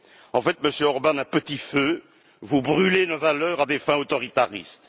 En fait, Monsieur Orbán, à petit feu, vous brûlez nos valeurs à des fins autoritaristes.